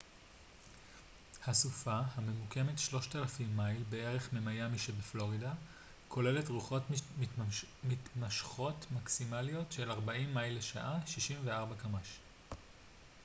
"הסופה הממוקמת 3,000 מייל בערך ממיאמי שבפלורידה כוללת רוחות מתמשכות מקסימליות של 40 מייל לשעה 64 קמ""ש.